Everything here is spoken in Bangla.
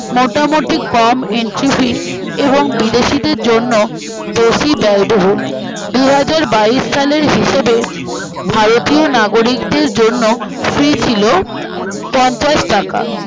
মোটামুটি কম entry fee এবং বিদেশিদের জন্য বেশি ব্যয়বহুল দুহাজারবাইশ সালের হিসাবে ভারতীয় নাগরিকদের জন্য